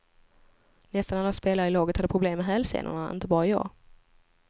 Nästan alla spelare i laget hade problem med hälsenorna, inte bara jag.